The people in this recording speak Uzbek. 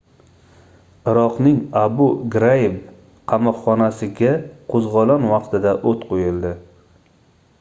iroqning abu graib qamoqxonasiga qoʻzgʻolon vaqtida oʻt qoʻyildi